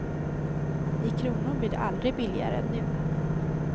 I kronor blir det aldrig billigare än nu.